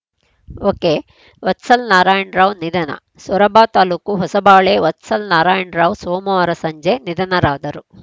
ಒಕೆವತ್ಸಲ್ ನಾರಾಯಣರಾವ್‌ ನಿಧನ ಸೊರಬ ತಾಲೂಕು ಹೊಸಬಾಳೆ ವತ್ಸಲ್ ನಾರಾಯಣ ರಾವ್‌ ಸೋಮವಾರ ಸಂಜೆ ನಿಧನರಾದರು